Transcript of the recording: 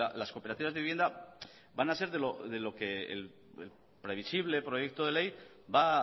las cooperativas de vivienda van a ser de lo que el previsible proyecto de ley va